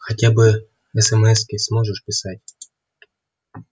хотя бы эсэмэски сможешь писать